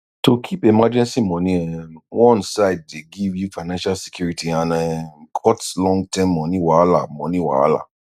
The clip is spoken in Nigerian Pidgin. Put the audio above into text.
to keep emergency money um one side dey give you financial security and um cut long term money wahala money wahala